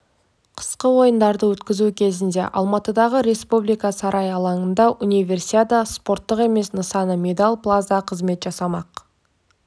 қысқы ойындарды өткізу кезінде алматыдағы республика сарайы алаңында универсиада спорттық емес нысаны медал плаза қызмет жасамақ